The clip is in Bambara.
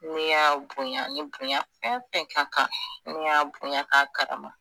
Ne y'a bonya ni bonya fɛn fɛn ka kan ne y'a bonya k'a karama